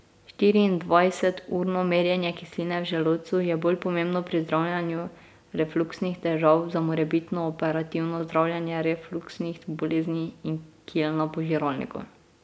Štiriindvajseturno merjenje kisline v želodcu je bolj pomembno pri zdravljenju refluksnih težav za morebitno operativno zdravljenje refluksnih bolezni in kil na požiralniku.